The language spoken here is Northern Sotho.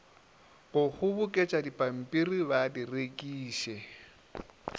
go kgoboketšadipampiri ba di rekiše